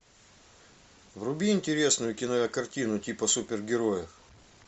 вруби интересную кинокартину типа супергероев